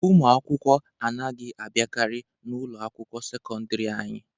Ụmụ akwụkwọ anaghị abiakari na ụlọ akwụkwọ sekọndiri anyị.